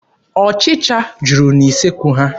Ọchịcha juru n'usekwu ha.